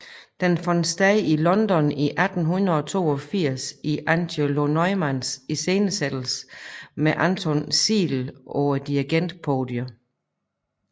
Den fandt sted i London i 1882 i Angelo Neumanns iscenesættelse med Anton Seidl på dirigentpodiet